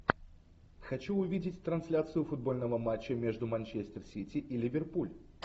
хочу увидеть трансляцию футбольного матча между манчестер сити и ливерпуль